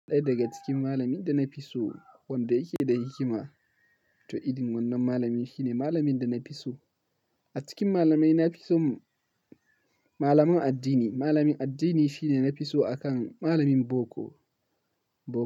Ɗaya daga cikin malamin da na fi so wanda yake da hikima. To irin wannan malamin shine malamin da na fi so. A cikin malamai na fi son malaman addini. Malamin addini shine na fi so akan malamin boko.